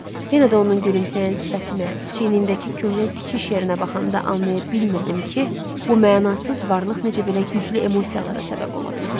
Yenə də onun gülümsəyən sifətinə, çiynindəki köhnə tikiş yerinə baxanda anlaya bilmirdim ki, bu mənasız varlıq necə belə güclü emosiyalara səbəb ola bilər.